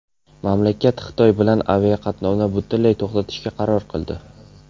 Mamlakat Xitoy bilan aviaqatnovni butunlay to‘xtatishga qaror qildi.